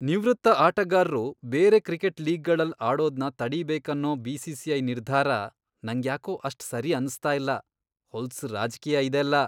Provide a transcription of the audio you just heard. ನಿವೃತ್ತ ಆಟಗಾರ್ರು ಬೇರೆ ಕ್ರಿಕೆಟ್ ಲೀಗ್ಗಳಲ್ಲ್ ಆಡೋದ್ನ ತಡಿಬೇಕನ್ನೋ ಬಿ.ಸಿ.ಸಿ.ಐ. ನಿರ್ಧಾರ ನಂಗ್ಯಾಕೋ ಅಷ್ಟ್ ಸರಿ ಅನ್ಸ್ತಾ ಇಲ್ಲ, ಹೊಲ್ಸ್ ರಾಜ್ಕೀಯ ಇದೆಲ್ಲ.